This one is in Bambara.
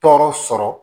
Tɔɔrɔ sɔrɔ